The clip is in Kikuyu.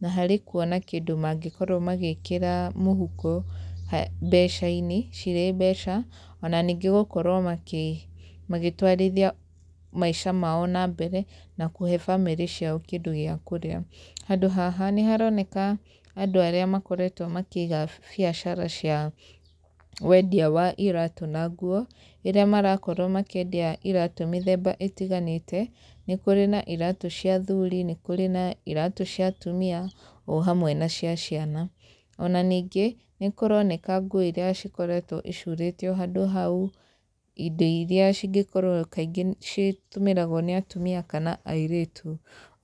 na harĩ kuona kĩndũ mangĩkorwo magĩkĩra mũhuko mbeca-inĩ cirĩ mbeca, ona nignĩ gũkorwo magĩtwarithia maica mao na mbere na kũhe bamĩrĩ ciao kĩndũ gĩa kũrĩa. Handũ haha, nĩ haroneka andũ arĩa makoretwo makĩiga biacara cia wendia wa iraatũ na nguo, irĩa marakorwo makĩendia iraatũ mĩthemba ĩtiganĩte. Nĩ kũrĩ na iraatũ cia athuri, nĩ kũrĩ na iraatũ cia atumia, o hamwe na cia ciana. Ona ningĩ, nĩ kũroneka nguo irĩa cikoretwo icurĩtio handũ hau, indo irĩa cingĩkorwo kaingĩ citũmĩragwo nĩ atumia kana airĩtu.